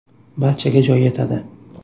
Barchaga joy yetadi.